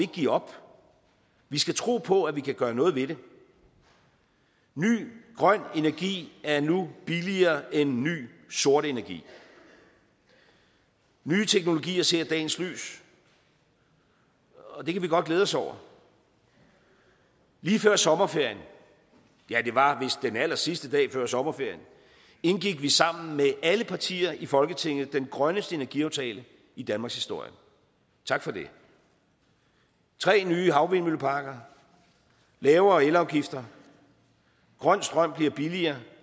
give op vi skal tro på at vi kan gøre noget ved det ny grøn energi er nu billigere end ny sort energi nye teknologier ser dagens lys og det kan vi godt glæde os over lige før sommerferien ja det var vist den allersidste dag før sommerferien indgik vi med sammen med alle partier i folketinget den grønneste energiaftale i danmarkshistorien tak for det tre nye havvindmølleparker lavere elafgifter grøn strøm bliver billigere